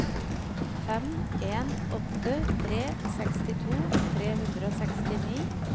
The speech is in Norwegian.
fem en åtte tre sekstito tre hundre og sekstini